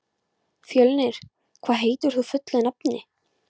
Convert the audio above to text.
Fjölnir, hvað heitir þú fullu nafni?